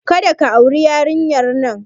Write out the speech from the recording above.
Kada ka auri yarinyar nan!